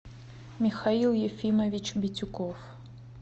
михаил ефимович битюков